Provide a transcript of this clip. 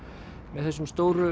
með þessum stóru